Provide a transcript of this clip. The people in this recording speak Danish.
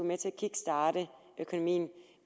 med til at kickstarte økonomien